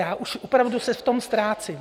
Já už opravdu se v tom ztrácím.